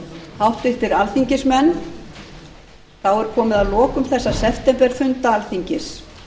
háttvirtir alþingismenn þá er komið að lokum þessara septemberfunda alþingis